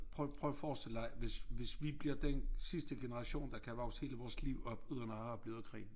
Prøv prøv at forestil dig hvis hvis vi bliver den sidste generation der kan vokse hele vores liv op uden at have oplevet krig